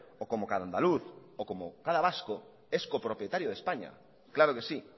o como cada andaluz o como cada vasco es copropietario de españa claro que sí